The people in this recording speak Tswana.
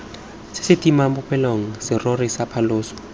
sa setimamolelo serori sa phaloso